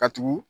Ka tugu